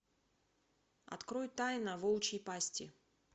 открой тайна волчьей пасти